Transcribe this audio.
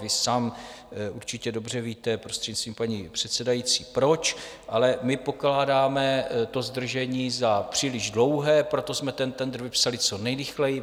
Vy sám určitě dobře víte, prostřednictvím paní předsedající, proč, ale my pokládáme to zdržení za příliš dlouhé, proto jsme ten tendr vypsali co nejrychleji.